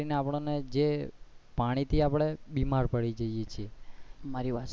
અને જે આપણે ને પાણી થી આપણે બીમાર પડી જઇયે છીએ.